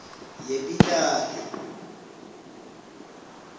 yepitali